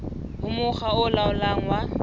ho mokga o laolang wa